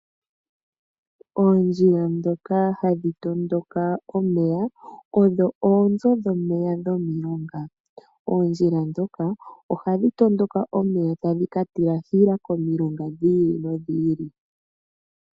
Oondjila ndhoka hadhi tondoka omeya, odho oonzo dhomeya dhomilonga. Oondjila ndhoka ohadhi tondoka omeya tadhi ka tilahila komilonga dhi ili nodhi ili.